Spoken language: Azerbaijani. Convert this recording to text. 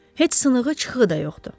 Heç sığınığı, çıxığı da yoxdur.